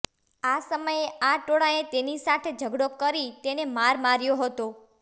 આ સમયે આ ટોળાએ તેની સાથે ઝઘડો કરી તેને માર માર્યો હતો